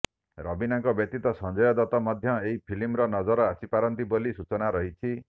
ରବୀନାଙ୍କ ବ୍ୟତୀତ ସଞ୍ଜୟ ଦତ୍ତ ମଧ୍ୟ ଏହି ଫିଲ୍ମର ନଜର ଆସିପାରନ୍ତି ବୋଲି ସୂଚନା ରହିଛି